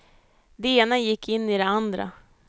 Det ena gick in i det andra.